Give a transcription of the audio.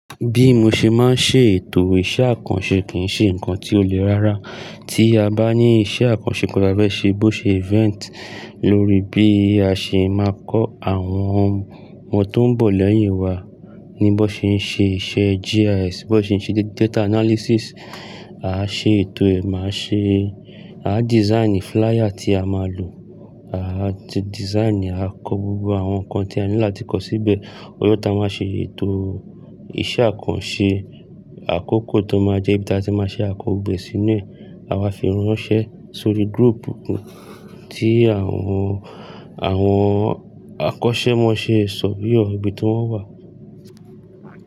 Bí mo ṣe máa ń ṣe ètò iṣẹ́ àkànṣe kì ń ṣe nǹkan tí ó le rára. Tí a bá ní iṣẹ́ àkànṣe kan tafẹ́se bó ṣe event lórí bí a ṣe máa kọ́ àwọn ọmọ tó ń bọ̀ lẹ́yìn wa ní bó ṣe ń ṣe iṣẹ́ GIS, bó ṣe ń ṣe data analysis. A á ṣe ètò ẹ̀, máa ṣe, a á design flier tí a máa lò, a á design, a kọ gbogbo àwọn nǹkan tí a ní láti kọ síbẹ̀. Ọjọ́ tá a máa ṣe ètò iṣẹ́ àkànṣe, àkókò tó máa jẹ́ bí tí a ṣe máa ṣe àkọ́gbẹ́ sínú ẹ̀, àwa fi ránṣẹ́ sórí group kan tí àwọn, àwọn àkọ́ṣẹ́ máa ṣe sọ̀féyọ̀ ọ̀bí tó wà.